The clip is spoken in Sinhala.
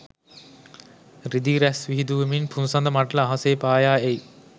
රිදී රැස් විහිඳුවමින් පුන්සඳ මඬල අහසේ පායා එයි.